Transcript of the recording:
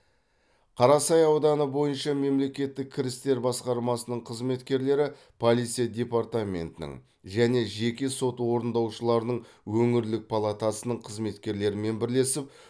қарасай ауданы бойынша мемлекеттік кірістер басқармасының қызметкерлері полиция департаментінің және жеке сот орындаушыларының өңірлік палатасының қызметкерлерімен бірлесіп